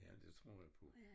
Ja det tror jeg på